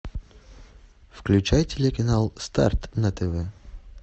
включай телеканал старт на тв